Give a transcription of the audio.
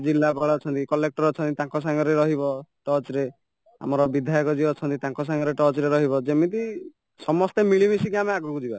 ଜିଲ୍ଲାପାଳ ଅଛନ୍ତି collector ଅଛନ୍ତି ତାଙ୍କ ସାଙ୍ଗରେ ରହିବ touch ରେ ଆମର ବିଧ୍ୟାୟକ ଯିଏ ଅଛନ୍ତି ତାଙ୍କ ସାଙ୍ଗରେ touchରେ ରହିବ ଯେମିତି ସମସ୍ତେ ଆମେ ମିଳି ମିଶିକି ଆମେ ଆଗକୁଯିବା